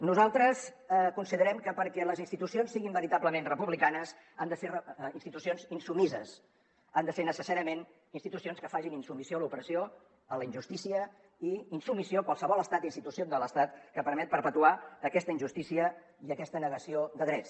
nosaltres considerem que perquè les institucions siguin veritablement republicanes han de ser institucions insubmises han de ser necessàriament institucions que facin insubmissió a l’opressió a la injustícia i insubmissió a qualsevol estat o institució de l’estat que permet perpetuar aquesta injustícia i aquesta negació de drets